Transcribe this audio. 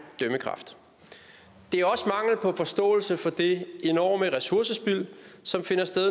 dømmekraft det er også mangel på forståelse for det enorme ressourcespild som finder sted